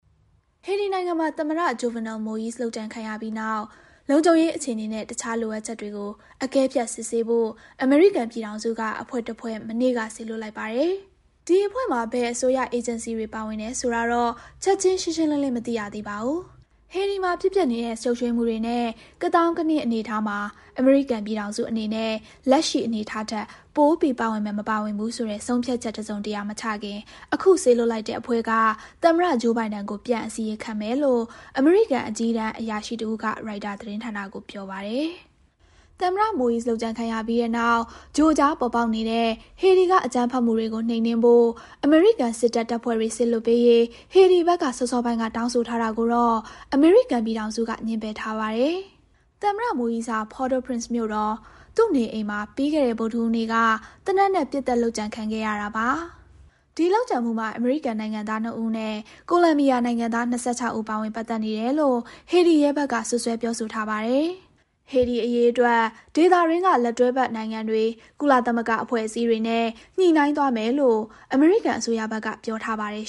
ဟေတီနိုင်ငံမှာ သမ္မတ Jovenel Moise လုပ်ကြံခံရပြီးတဲ့နောက် လုံခြုံရေး အခြေအနေနဲ့ တခြား လိုအပ်ချက်တွေကို အကဲဖြတ် စစ်ဆေးဖို့ အမေရိကန်ပြည်ထောင်စုက အဖွဲ့တဖွဲ့ မနေ့က စေလွှတ်လိုက်ပါတယ်။ ဒီအဖွဲ့မှာ ဘယ်အစိုးရ အေဂျင်စီတွေက ပါဝင်တယ်ဆိုတာတော့ ချက်ချင်း ရှင်းရှင်းလင်းလင်း မသိရသေးပါဘူး။ ဟေတီမှာ ဖြစ်ပျက်နေတဲ့ ရှုပ်ထွေးမှုတွေနဲ့ ကသောင်းကနင်း အနေအထားမှာ အမေရိကန်ပြည်ထောင်စုအနေနဲ့ လက်ရှိအနေထားထက် ပိုပြီး ပါဝင်မယ်၊ မပါဝင်ဘူး ဆုံးဖြတ်ချက် တစုံတရာ မချခင် အခု စေလွှတ်လိုက်တဲ့ အဖွဲ့က သမ္မတ Joe Biden ကို ပြန်အစီရင်မယ်လို့ အမေရိကန်အကြီးအတန်းအရာရှိ တဦးက ရိုက်တာသတင်းဌာနကို ပြောပါတယ်။ သမ္မတ Moise လုပ်ကြံခံရပြီးတဲ့နောက် ကြိုကြား ပေါ်ပေါက်နေတဲ့ ဟေတီက အကြမ်းဖက်မှုတွေကို နှိမ်နင်းဖို့ အမေရိကန်စစ်တပ် တပ်ဖွဲ့တွေ စေလွှတ်ပေးရေး ဟေတီဘက်က စောစောပိုင်းက တောင်းဆိုထားတာကိုတော့ အမေရိကန်ပြည်ထောင်စုက ငြင်းပယ်ထားပါတယ်။ သမ္မတ Moise ဟာ Port-au-Prince မြို့တော် သူ့နေအိမ်မှာ ပြီးခဲ့တဲ့ ဗုဒ္ဓဟူးနေ့က သေနတ်နဲ့ ပစ်သတ် လုပ်ကြံခံခဲ့ရတာပါ။ ဒီလုပ်ကြံမှာ အမေရိကန်နိုင်ငံသားနှစ်ဦးနဲ့ ကိုလံဘီယာနိုင်ငံသား ၂၆ ဦး ပါဝင်ပတ်သက်နေတယ်လို့ ဟေတီရဲဘက်က စွပ်စွဲပြောဆိုထားပါတယ်။ ဟေတီအရေးအတွက် ဒေသတွင်းက လက်တွဲဖက်နိုင်ငံတွေ၊ ကုလသမဂ္ဂအဖွဲ့အစည်းတွေနဲ့ ညှိနှိုင်းသွားမယ်လို့ အမေရိကန်အစိုးရဘက်က ပြောထားပါတယ်